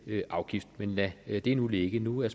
afgift men lad det nu ligge nu er